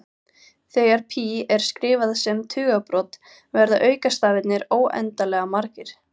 Þegar pí er skrifað sem tugabrot verða aukastafirnir óendanlega margir.